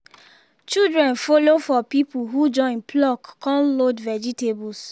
children follow for people who join pluck con load vegetables